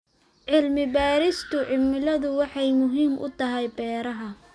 Cilmi-baarista cimiladu waxay muhiim u tahay beeraha.